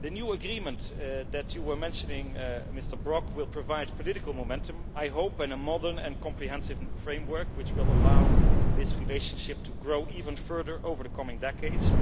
The new agreement that you were mentioning, Mr Brok, will provide political momentum I hope in a modern and comprehensive framework, which will allow this relationship to grow even further over the coming decades,